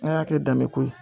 An y'a kɛ danbeko ye